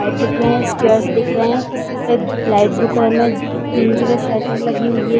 और different chairs दिख रहे है और लाइट दुकान में तीन जगह शटर्स लगी हुई हैं।